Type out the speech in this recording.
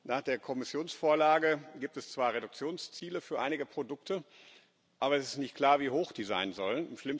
Nach der Kommissionsvorlage gibt es zwar Reduktionsziele für einige Produkte, aber es ist nicht klar, wie hoch die sein sollen.